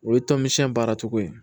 O ye tɔn min baara cogo ye